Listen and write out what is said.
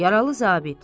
Yaralı zabit.